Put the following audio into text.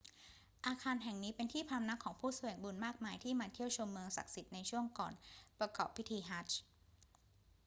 อาคารแห่งนี้เป็นที่พำนักของผู้แสวงบุญมากมายที่มาเที่ยวชมเมืองศักดิ์สิทธิ์ในช่วงก่อนประกอบพิธีฮัจญ์